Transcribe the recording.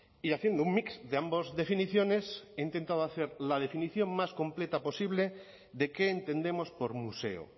y haciendo un mix de ambos definiciones he intentado hacer la definición más completa posible de qué entendemos por museo